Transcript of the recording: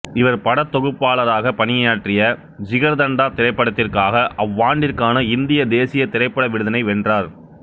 இவர் படத்தொகுப்பாளராக பணியாற்றிய ஜிகர்தண்டா திரைப்படத்திற்காக அவ்வாண்டிற்கான இந்திய தேசிய திரைப்பட விருதினை வென்றார்